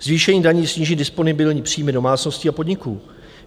Zvýšení daní sníží disponibilní příjmy domácností a podniků.